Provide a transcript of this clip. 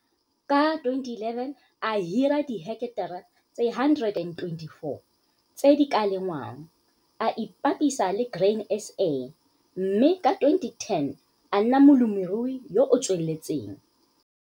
Ka 2011 a hira diheketara tse 124 tse di ka lengwang. A ipapisa le Grain SA mme ka 2010 a nna molemirui yo o tsweletseng.